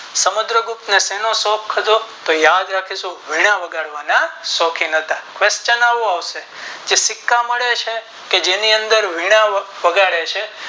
સમુદ્ર ગુપ્ત ને સેનો શોખ હતો તો યાદ રાખીશું વીણા વગાડવાના શોકીન હતા question આવો આવશે કે સિક્કા મળે છે જેની અંદર વીણા વગાડે છે.